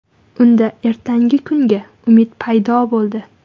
Unda ertangi kuniga umid paydo bo‘ldi.